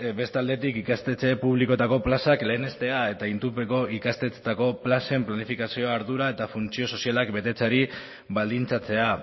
bestalde ikastetxe publikoetako plazak lehenestea eta itunpeko ikastetxeetako plazen planifikazioa ardura eta funtzio sozialak betetzeari baldintzatzea